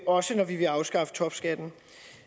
også når vi vil afskaffe topskatten